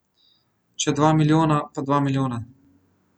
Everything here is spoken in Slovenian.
Če dva milijona, pa dva milijona.